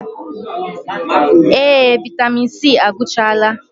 Ee! Vaịtamịn C agwụchaala.